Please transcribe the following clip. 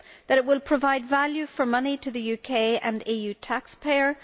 that it will provide value for money to the UK and EU taxpayer